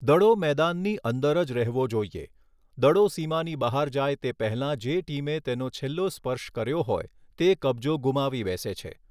દડો મેદાનની અંદર જ રહેવો જોઇએ, દડો સીમાની બહાર જાય તે પહેલાં જે ટીમે તેનો છેલ્લો સ્પર્શ કર્યો હોય તે કબજો ગુમાવી બેસે છે.